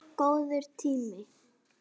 Góður tími.